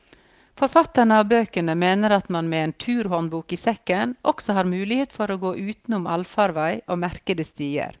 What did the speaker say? Forfatterne av bøkene mener at man med en turhåndbok i sekken, også har mulighet for å gå utenom allfarvei og merkede stier.